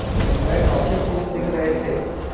वह काफ़ी खुश दिख रहे थे